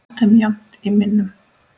haft þeim jafnt í minnum.